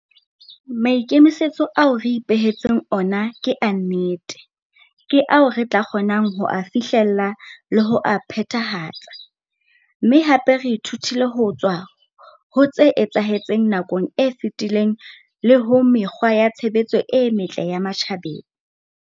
Maikemisetso ao re ipehe tseng ona ke a nnete, ke ao re tla kgonang ho a fihlella le ho a phethahatsa, mme hape re ithutile ho tswa ho tse etsahetseng nakong e fetileng le ho mekgwa ya tshebetso e metle ya matjhabeng.